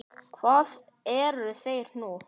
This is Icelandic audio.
Hvar eru þeir nú?